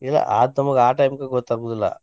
ಇಲ್ಲಾ ನಮಗೆ ಆ time ಕ ಗೊತ್ತ ಆಗುದಿಲ್ಲಾ.